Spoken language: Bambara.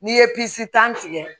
N'i ye pisi tan tigɛ